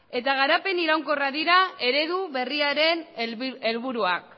eta garapen iraunkorra dira eredu berriaren helburuak